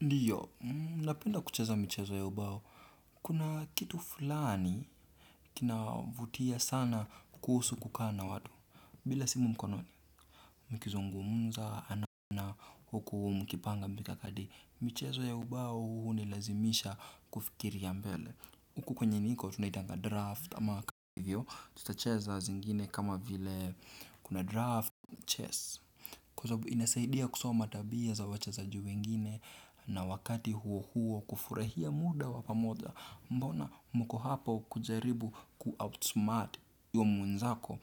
Ndiyo, napenda kucheza michezo ya ubao, kuna kitu fulani kina vutia sana kuhusu kukaa na watu, bila simu mkononi, mkizungumza, huku, mkipanga mikakati, michezo ya ubao hunilazimisha kufikiria mbele. Huku kwenye niko tunaitanga draft ama kwa hivyo, tutacheza zingine kama vile kuna draft, chess. Kwa sababu inasaidia kusoma tabia za wachezaji wengine na wakati huo huo kufurahia muda wa pamoja. Mbona mko hapo kujaribu kuoutsmart huyo mwenzako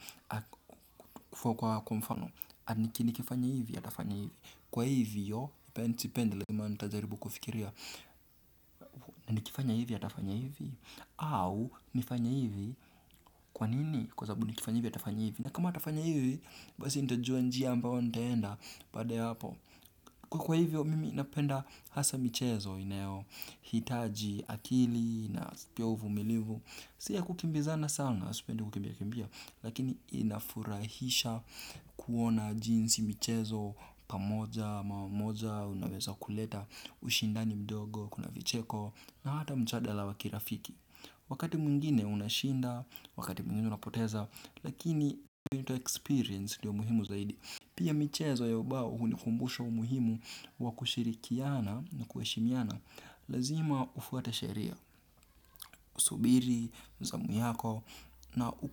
kufua kwa mfano Anikini kifanya hivyo, atafanya hivyo, kwa hivyo, nipendele maali tajaribu kufikiria. Na nikifanya hivi atafanya hivi. Au nifanye hivi kwa nini. Kwa sabu nikifanya hivi atafanya hivi. Na kama atafanya hivi basi nitojua njia ambao nitaenda. Baada ya hapo kwa hivyo mimi napenda hasa michezo inayo hitaji akili na spia uvumilivu. Sia kukimbizana sana. Lakini inafurahisha kuona jinsi michezo pamoja mara moja unaweza kuleta ushindani mdogo kuna vicheko na hata mchadala wakirafiki wakati mwiingine unashinda wakati mungine unapoteza lakini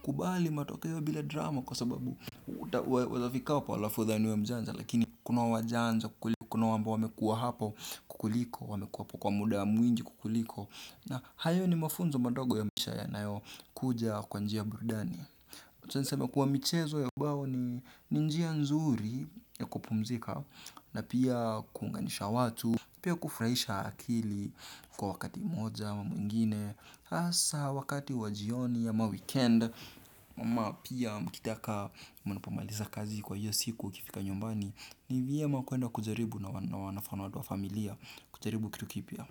kubali matokeo bila drama kwa sababu uta wezafika wapo lafu idhani we mjanja lakini kuna wajanja kukuli kuna wamba wamekua hapo kukuliko wamekua po kwa muda ya mwingi kukuliko na hayo ni mafunzo madogo ya misha ya nayo kuja kwa njia burdani kutu niseme kuwa michezo ya ubao ni njia nzuri ya kupumzika na pia kuunganisha watu pia kufurahisha akili kwa wakati moja ama mwingine asa wakati wajioni ya ma weekend mama pia mkitaka mnapomaliza kazi kwa hiyo siku kifika nyombani ni viyema kuenda kujaribu na wanafano watu wa familia kucharibu kitu kipya.